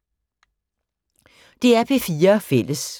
DR P4 Fælles